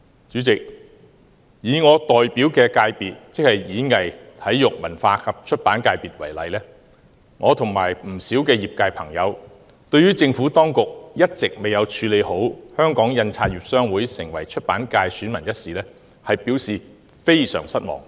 主席，以我代表的界別——即體育、演藝、文化及出版界——為例，我與不少業界朋友對於政府當局一直未有妥善處理香港印刷業商會成為出版界選民一事，表示非常失望。